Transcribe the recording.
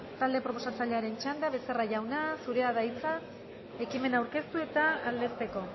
talde proposatzailearen txanda becerra jauna zurea da hitza ekimena aurkeztu eta aldezteko